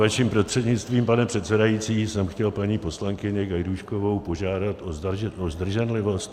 Vaším prostřednictvím, pane předsedající, jsem chtěl paní poslankyni Gajdůškovou požádat o zdrženlivost.